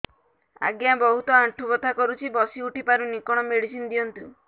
ଆଜ୍ଞା ବହୁତ ଆଣ୍ଠୁ ବଥା କରୁଛି ବସି ଉଠି ପାରୁନି କଣ ମେଡ଼ିସିନ ଦିଅନ୍ତୁ